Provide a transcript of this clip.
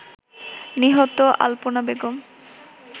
নিহত আল্পনা বেগম